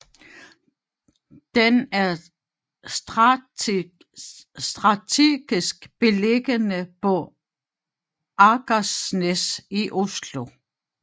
Den er strategisk beliggende på Akersnæs i Oslo